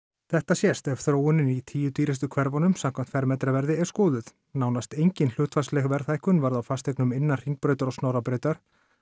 þetta sést ef þróunin í tíu dýrustu hverfunum samkvæmt fermetraverði er skoðuð nánast engin hlutfallsleg verðhækkun varð á fasteignum innan Hringbrautar og Snorrabrautar